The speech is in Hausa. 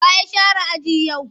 Wa ya share aji yau?